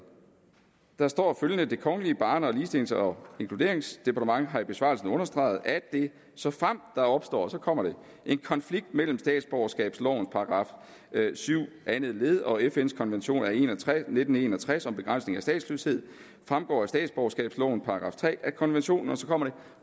der står følgende det kongelige barne ligestillings og inkluderingsdepartement har i besvarelsen understreget at det såfremt der opstår og så kommer det en konflikt mellem statsborgerskabslovens § syv anden led og fns konvention af nitten en og tres om begrænsning af statsløshed fremgår af statsborgerskabslovens § tre at konventionen og så kommer det